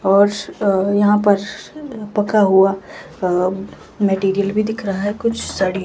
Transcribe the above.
और एक नीला आसमान दिखाई दे रहा है। और एक नीला आसमान दिखाई दे रहा है।